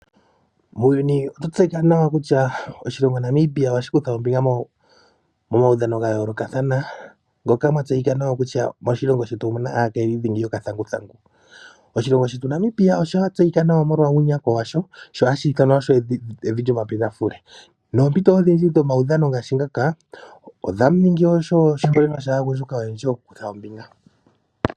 Muuyuni okwa tseyika nawa kutya oshilongo Namibia ohashi kutha ombinga momaudhano ga yoolokathana, ngoka mwa tseyika nawa kutya moshilongo shetu omuna aakayili dhingi yokathanguthangu. Oshilongo shetu Namibia osha tseyika nawa molwa uunyakwa washo, sho osho hashi ithanwa evi lyomapendafule. Noompito odhindji dhomaudhan ngaashi ngaka odha ningi opo aanyasha ya vule okukutha ombinga.